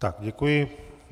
Tak, děkuji.